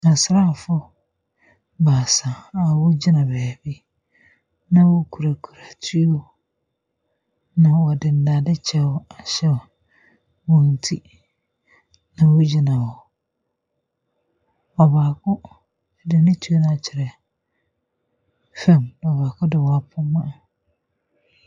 Asraafoɔ baasa a wɔgyina baabi na wɔkurakura tuo. Na wɔde dade kyɛw ahyɛ wɔn ti na wɔgyina hɔ. Ↄbaako de ne tuo no akyerɛ fam na baako deɛ wapoma.